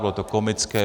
Bylo to komické.